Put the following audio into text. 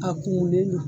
A kurulen don